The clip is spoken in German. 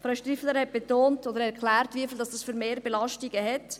Frau Striffeler hat erklärt und betont, um welche Mehrbelastungen es geht.